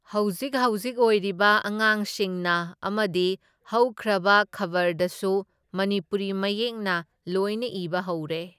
ꯍꯧꯖꯤꯛ ꯍꯧꯖꯤꯛ ꯑꯣꯏꯔꯤꯕ ꯑꯉꯥꯡꯁꯤꯡꯅ ꯑꯃꯗꯤ ꯍꯧꯈ꯭ꯔꯕ ꯈꯕꯔꯗꯁꯨ ꯃꯅꯤꯄꯨꯔꯤ ꯃꯌꯦꯛꯅ ꯂꯣꯏꯅ ꯏꯕ ꯍꯧꯔꯦ꯫